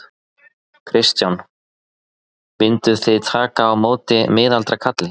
Kristján: Mynduð þið taka á móti miðaldra kalli?